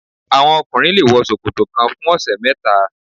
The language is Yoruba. Àwọn ọkùnrin le wọ ṣòkòtò kan fún ọ̀sẹ̀ mẹ́ta.